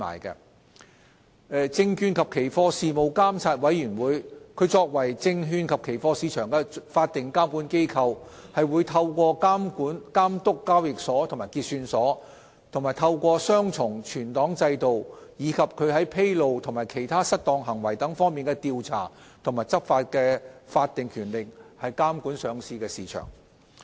作為證券及期貨市場的法定監管機構，證券及期貨事務監察委員會則透過監督交易所及結算所、雙重存檔制度，以及其在披露和其他失當行為等方面的調查和執法的法定權力，監管上市市場。